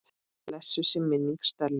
Blessuð sé minning Stellu.